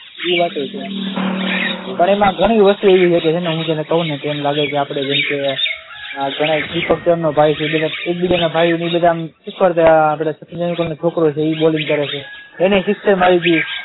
એ વાત પણ છે પણ એમાં ઘણી વસ્તુ એવી છે કે ને હું તને કહું ને તો એમ લાગે આપણે જેમકે ઘણાય દીપક ચરનો ભાઈ છે, બધા એકબીજાના ભાઈઓ અને એ બધા શીખવાડતા હોય આપણે સચિન અંકલનો છોકરો છે એ પણ બોલિંગ કરે છે એને પણ સિક્સ મારી હતી.